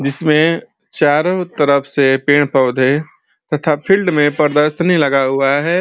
जिसमे चारो तरफ से पेड़-पोधे तथा फिल्ड में प्रदर्शनी लगा हुआ है।